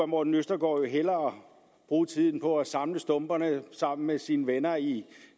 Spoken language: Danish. morten østergaard hellere bruge tiden på at samle stumperne sammen med sine venner i